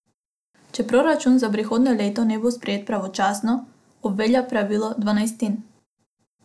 Če proračun za prihodnje leto ne bo sprejet pravočasno, obvelja pravilo dvanajstin.